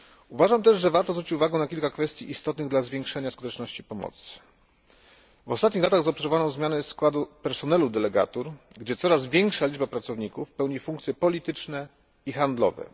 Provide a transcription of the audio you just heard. Uważam też, że warto zwrócić uwagę na kilka kwestii istotnych dla zwiększenia skuteczności pomocy. W ostatnich latach zaobserwowano zmiany składu personelu delegatur, gdzie coraz większa liczba pracowników pełni funkcje polityczne i handlowe.